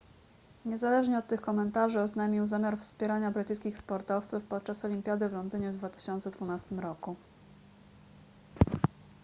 niezależnie od tych komentarzy oznajmił zamiar wspierania brytyjskich sportowców podczas olimpiady w londynie w 2012 roku